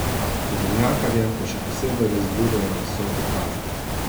Tovornjakarje pa še posebej razburjajo visoke kazni.